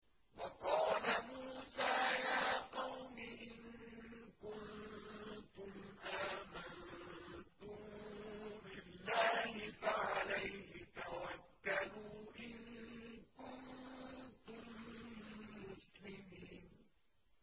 وَقَالَ مُوسَىٰ يَا قَوْمِ إِن كُنتُمْ آمَنتُم بِاللَّهِ فَعَلَيْهِ تَوَكَّلُوا إِن كُنتُم مُّسْلِمِينَ